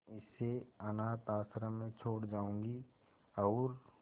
इसे अनाथ आश्रम में छोड़ जाऊंगी और